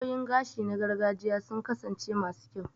Hanyoyin gashi na gargajiya sun kasance masu kyau